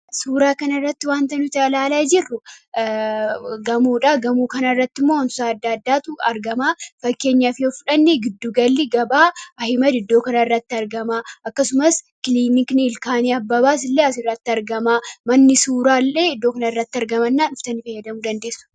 suuraa kana irratti wanta nuti alaalaa jirru gamoodha gamoo kanaa irratti mo'onss adda addaatu argamaa fakkeenyaa fi ofdhanni giddugalli gabaa iddoo kana irratti argamaa akkasumas kililikni ilkaanii abbabaas illee as irratti argamaa manni suuraa illee iddoo kana irratti argamannaa dhuftani fayyadamuu dandeessu